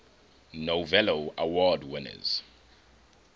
novello award winners